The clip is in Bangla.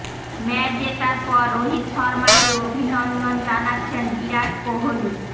ম্যাচ জেতার পর রোহিত শর্মাকে অভিনন্দন জানাচ্ছেন বিরাট কোহলি